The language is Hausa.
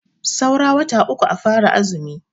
Saura wata uku a fara azumi.